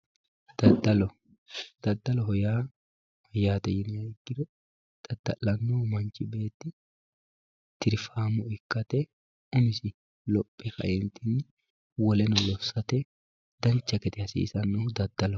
dadalo daddaloho yaa mayyate yiniha ikiro lamu manchi beetti tirfaamo ikkate umisi lophe kaeenti woleno lossate dancha gede hasiisannohu dadaloho.